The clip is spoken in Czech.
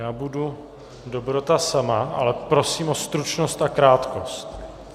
Já budu dobrota sama, ale prosím o stručnost a krátkost!